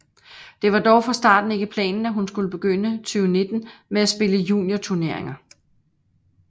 Det var dog fra starten ikke planen at hun skulle begynde 2019 med at spille juniorturneringer